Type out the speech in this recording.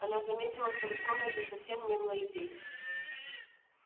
она заметила что в этой комнате совсем не было людей